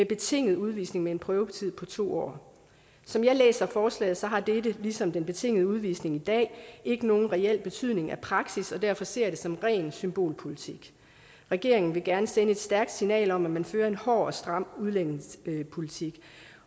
betinget udvisning med en prøvetid på to år som jeg læser forslaget har dette ligesom den betingede udvisning i dag ikke nogen reel betydning for praksis og derfor ser jeg det som ren symbolpolitik regeringen vil gerne sende et stærkt signal om at man fører en hård og stram udlændingepolitik